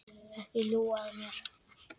Ekki ljúga að mér.